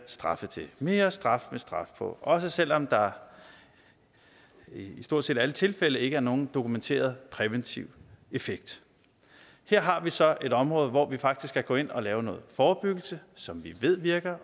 straffe til mere straf med straf på også selv om der i stort set alle tilfælde ikke er nogen dokumenteret præventiv effekt her har vi så et område hvor vi faktisk kan gå ind og lave noget forebyggelse som vi ved virker